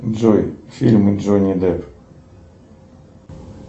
джой фильмы джонни депп